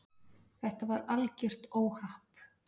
Þetta var algjört óhapp.